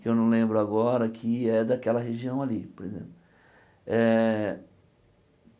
que eu não lembro agora, que é daquela região ali, por exemplo eh.